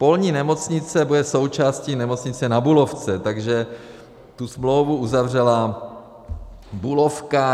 Polní nemocnice bude součástí Nemocnice Na Bulovce, takže tu smlouvu uzavřela Bulovka.